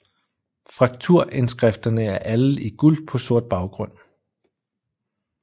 Frakturindskrifterne er alle i guld på sort baggrund